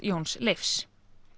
Jóns Leifs